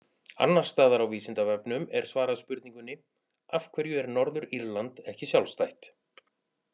Annars staðar á Vísindavefnum er svarað spurningunni Af hverju er Norður-Írland ekki sjálfstætt?